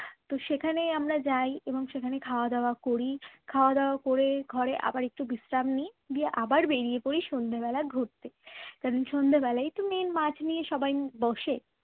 তো সেখানেই আমরা যাই এবং সেখানে খাওয়া-দাওয়া করি খাওয়া দাওয়া করে ঘরে আবার একটু বিশ্রাম নিই নিয়ে আবার বেরিয়ে পড়ি সন্ধ্যেবেলা ঘুরতে । কারণ সন্ধ্যা বেলায় তো main মাছ নিয়ে সবাই বসে